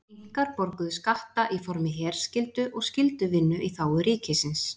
Inkar borguðu skatta í formi herskyldu og skylduvinnu í þágu ríkisins.